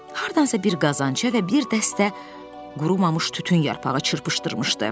Hardansa bir qazançə və bir dəstə qurumamış tütün yarpağı çırpışdırmışdı.